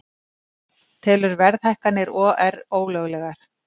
Telur verðhækkanir OR ólöglegar